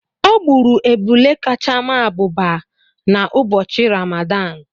O gburu ebulé kacha maa abụba n’ụbọchị Rámádán